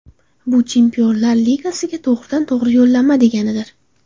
Bu Chempionlar ligasiga to‘g‘ridan-to‘g‘ri yo‘llanma deganidir.